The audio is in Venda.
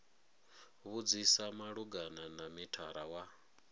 vhudzisa malugana na mithara wa